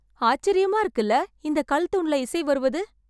ஆச்சரியமா இருக்குல இந்த கல் தூண்ல இசை வருவது